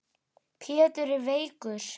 Pétur er veikur.